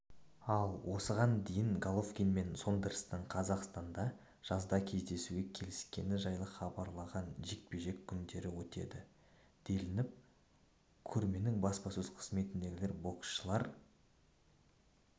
ал осыған дейін головкин мен сондерстің қазақстанда жазда кездесуге келіскені жайлы хабарлаған жекпе-жек күндері өтеді делініп ал көрменің баспасөз қызметіндегілер боксшылар